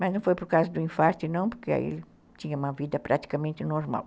Mas não foi por causa do infarte não, porque aí ele tinha uma vida praticamente normal.